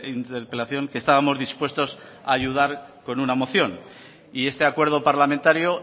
interpelación que estábamos dispuestos a ayudar con una moción y este acuerdo parlamentario